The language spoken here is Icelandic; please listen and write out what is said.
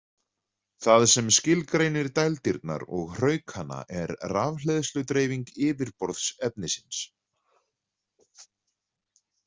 Það sem skilgreinir dældirnar og hraukana er rafhleðsludreifing yfirborðs efnisins.